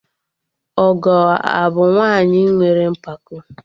Ọgọ abụ nwaanyị nwere mpako?